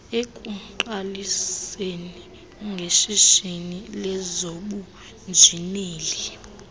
ekuqaliseni ngeshishini lezobunjineli